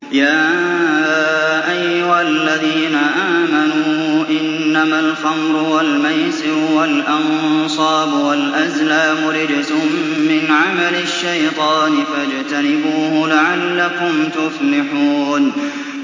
يَا أَيُّهَا الَّذِينَ آمَنُوا إِنَّمَا الْخَمْرُ وَالْمَيْسِرُ وَالْأَنصَابُ وَالْأَزْلَامُ رِجْسٌ مِّنْ عَمَلِ الشَّيْطَانِ فَاجْتَنِبُوهُ لَعَلَّكُمْ تُفْلِحُونَ